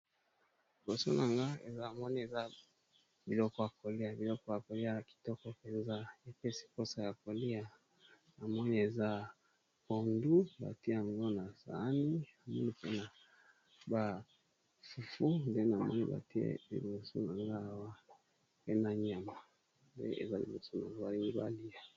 Liboso na nga, namoni eza biloko ya kolia, biloko yango ezo pesa posa ya kolia, biloko yango eza pondu, na niama